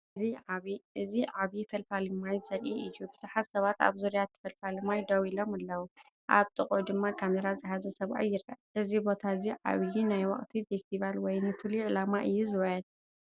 እዚ ዓቢ ፈልፋሊ ማይ ዘርኢ እዩ። ብዙሓት ሰባት ኣብ ዙርያ እቲ ፈልፋሊ ማይ ደው ኢሎም ኣለዉ። ኣብ ጥቓኡ ድማ ካሜራ ዝሓዘ ሰብኣይ ይርአ። እዚ ቦታ እዚ ዓቢ ናይ ወቕቲ ፈስቲቫል ወይስ ንፍሉይ ዕላማ እዩ ዚውዕል?